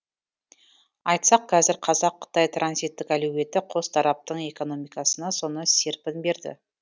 айтсақ қазір қазақ қытай транзиттік әлеуеті қос тараптың экономикасына соны серпін берді